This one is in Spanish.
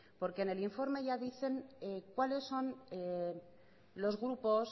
porque en el informe ya dicen cuáles son los grupos